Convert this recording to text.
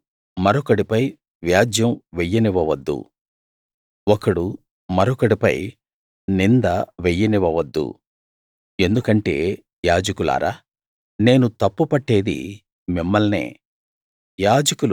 ఒకడు మరొకడిపై వ్యాజ్యం వెయ్యనివ్వవద్దు ఒకడు మరొకడిపై నింద వెయ్యనివ్వవద్దు ఎందుకంటే యాజకులారా నేను తప్పు పట్టేది మిమ్మల్నే